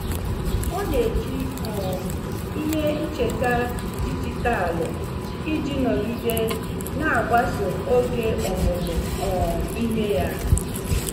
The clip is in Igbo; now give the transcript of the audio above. Ọ na-eji um ihe ncheta dijitalụ iji nọgide na-agbaso oge ọmụmụ um ihe ya.